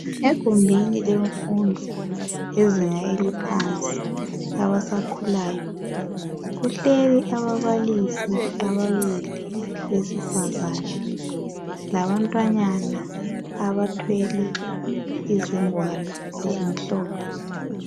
Egumbini lemfundo yezinga eliphansi, labasakhulayo, kuhleli ababalisi ababili besifazana labantwananyana abathwele izingwalo ezimhlophe.